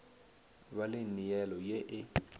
ba le neelo ye e